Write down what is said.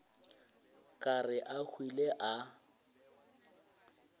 ka re a hwile a